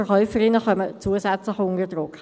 Die Verkäuferinnen kommen zusätzlich unter Druck.